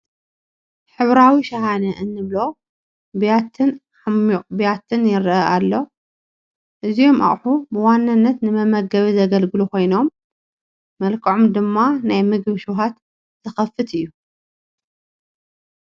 ሕብራዊ ሸሃነ ንብሎ ቢያትን ዓሚቕ ቢያትን ይርአ ኣሎ፡፡ እዚሞ ኣቕሑ ብዋናነት ንመመገቢ ዘግልግሎ ኮይኖም መልክዖም ድማ ናይ ምግቢ ሽውሃት ዝኸፍት እዩ፡፡